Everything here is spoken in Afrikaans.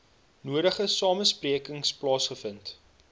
nodige samesprekings plaasgevind